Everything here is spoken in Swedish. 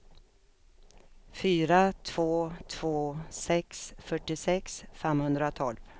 fyra två två sex fyrtiosex femhundratolv